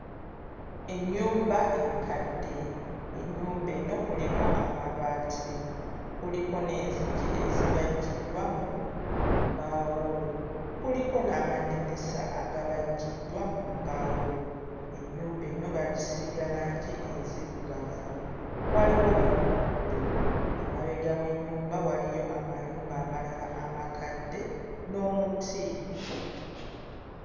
Ennyumba enkadde, ennyumba eno kuliko amabaati, kuliko n'enzigi ezibajjiddwa mu mbaawo, kuliko n'amadinisa agabajjiddwa mu mbaawo, ennyumba eno baagisiiga langi enzirugavu, waliwo n'omuddo, emabega w'ennyumba waliyo amayumba amalala amakadde n'omuti.